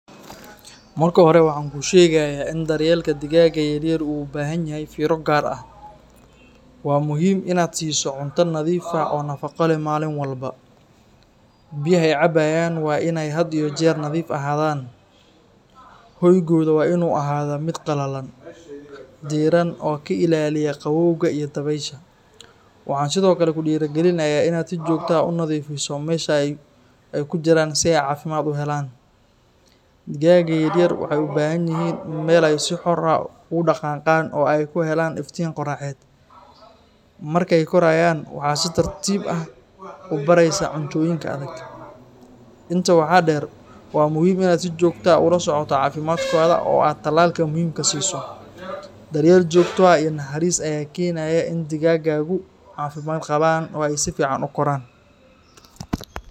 Marka hore waxan kushegaya in daryelka digaga yar yar u ubahan yahay firo gar ah waa muhiim In aa siso cunta nadhiif ah oo nafaqo leh malin walbo biyaha ee cabayan waa in ee had iyo jer nadhiif ahadhan hoygodha waa in u noqda mid qalalan diran oo ka ilaliya qawowga iyo dawesha waxan sithokale kudira galinaya si jogto ah u nadhifiso ee ku jiran si ee cafimaad u helan digaga yar yar waxee u bahan yihin meel ee si xor ah qan qan oo ee ku helan qoraxed marke korayan waxaa si tartiib ah ubareysa cuntoyinka adhag inta waxaa deer waa muhiim In aa si jogto ah ula socoto cafimaadkodha oo aa talal muhiim kasiso daryeel jogto ah iyo naxaris aya kenaya in digagagu u qawo cafimaad qawan oo si fican ukoran.